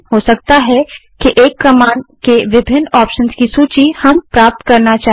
हो सकता है कि एक कमांड के विभिन्न ऑप्शंस की सूची हम प्राप्त करना चाहें